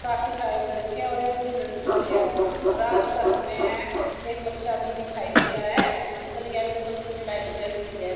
काफी सारे लड़के हैं और एक लड़की है। रात का समय है। एक बच्चा भी दिखाई दे रहा है। अंदर येलो कलर की लाइट जल रही है।